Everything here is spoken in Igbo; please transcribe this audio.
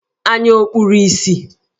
Anya ọ̀ kpuru ìsì?